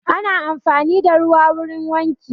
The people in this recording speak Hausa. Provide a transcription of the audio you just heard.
Ana amfani da ruwa wurin wanki